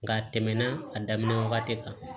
Nka a tɛmɛna a daminɛ wagati kan